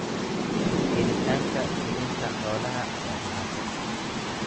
Helitaanka quudinta xoolaha waa dhibaato.